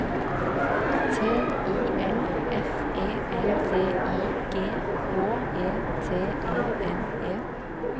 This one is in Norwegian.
T I L F E L D I G H E T E N E